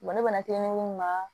ne mana mun na